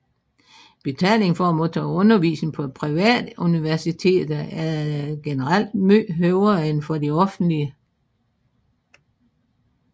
Betalingen for at modtage undervisning på private universiteter er generelt meget højere end for de offentlige